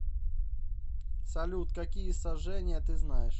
салют какие сожжение ты знаешь